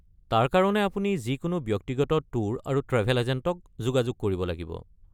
তাৰ কাৰণে আপুনি যিকোনো ব্যক্তিগত ট্যুৰ আৰু ট্ৰেভেল এজেণ্টক যোগাযোগ কৰিব লাগিব।